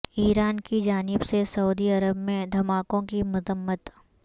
ایران کی جانب سے سعودی عرب میں دھماکوں کی مذمت